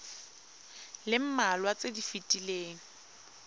le mmalwa tse di fetileng